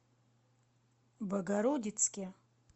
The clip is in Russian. богородицке